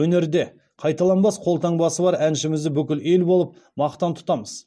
өнерде қайталанбас қолтаңбасы бар әншімізді бүкіл ел болып мақтан тұтамыз